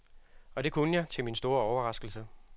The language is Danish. Og det kunne jeg, til min egen store overraskelse.